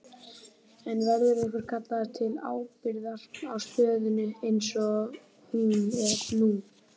En verður einhver kallaður til ábyrgðar á stöðunni eins og hún er nú?